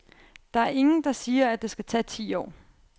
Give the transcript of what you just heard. Der er ingen, der siger, at det skal tage ti år.